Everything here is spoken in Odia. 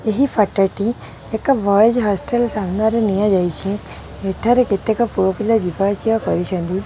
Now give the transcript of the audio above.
ଏହି ଫଟୋ ଟି ଏକ ବଏଜ୍ ହଷ୍ଟେଲ ସାମ୍ନାରେ ନିଆଯାଇଛି ଏଠାରେ କେତେକ ପୁଅ ପିଲା ଯିବା ଆସିବା କରୁଛନ୍ତି।